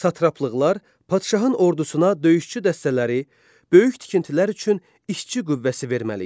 Satraplıqlar padşahın ordusuna döyüşçü dəstələri, böyük tikintilər üçün işçi qüvvəsi verməli idi.